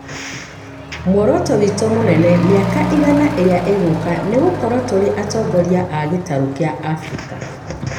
Muoroto witũ mũnene mĩaka ĩigana ĩrĩa ĩgũũka nĩ gũkorwo tũrĩ atongoria a gitarũ kĩa Abirika.